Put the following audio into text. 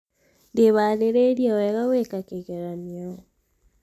ndĩharĩĩrie wega gwĩka kĩgeranio